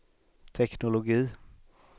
teknologi